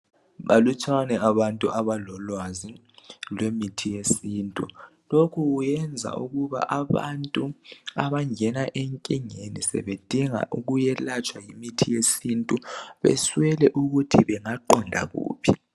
Balutshwana abantu abalolwazi lwemithi yesintu lokhu kuyenza ukuba abantu abangena enkingeni sebedinga ukuthi bayelatshwe ngemitshi yesintu baswele ukuthi bangaqonda kuphi.